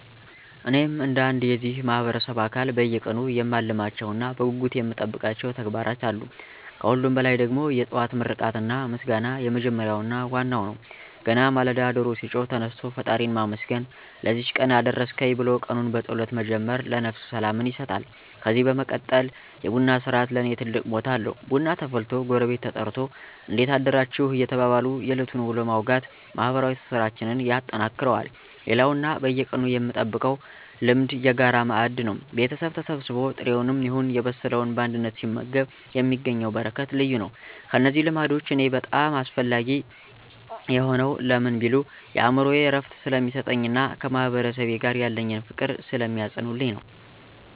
እኔም እንደ አንድ የዚህ ማህበረሰብ አካል በየቀኑ የማልተዋቸውና በጉጉት የምጠብቃቸው ተግባራት አሉ። ከሁሉም በላይ ደግሞ "የጠዋት ምርቃትና ምስጋና" የመጀመሪያውና ዋናው ነው። ገና ማለዳ ዶሮ ሲጮህ ተነስቶ ፈጣሪን ማመስገን፣ "ለዚህች ቀን አደረስከኝ" ብሎ ቀኑን በጸሎት መጀመር ለነፍስ ሰላምን ይሰጣል። ከዚህ በመቀጠል "የቡና ሥርዓት" ለኔ ትልቅ ቦታ አለው፤ ቡና ተፈልቶ ጎረቤት ተጠርቶ "እንዴት አደራችሁ?" እየተባባሉ የዕለቱን ውሎ ማውጋት ማህበራዊ ትስስራችንን ያጠነክረዋል። ሌላውና በየቀኑ የምጠብቀው ልማድ "የጋራ ማዕድ" ነው። ቤተሰብ ተሰብስቦ ጥሬውንም ይሁን የበሰለውን በአንድነት ሲመገብ የሚገኘው በረከት ልዩ ነው። እነዚህ ልማዶች ለኔ በጣም አስፈላጊ የሆኑት ለምን ቢሉ፣ የአእምሮ እረፍት ስለሚሰጡኝና ከማህበረሰቤ ጋር ያለኝን ፍቅር ስለሚያጸኑልኝ ነው።